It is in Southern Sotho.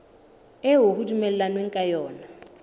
eo ho dumellanweng ka yona